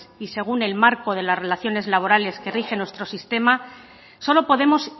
y según el marco de las relaciones laborales que rigen nuestro sistema solo podemos